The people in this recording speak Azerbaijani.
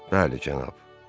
Bəli, cənab.